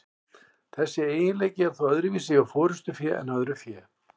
Þessi eiginleiki er þó öðruvísi hjá forystufé en öðru fé.